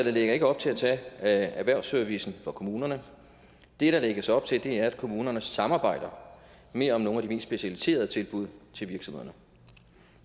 lægger ikke op til at tage erhvervsservicen fra kommunerne det der lægges op til er at kommunerne samarbejder mere om nogle af de mest specialiserede tilbud til virksomhederne